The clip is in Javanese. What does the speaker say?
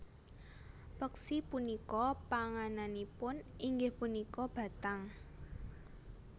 Peksi punika pangananipun inggih punika bathang